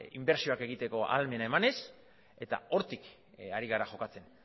inbertsioak egiteko ahalmena emanez eta hortik ari gara jokatzen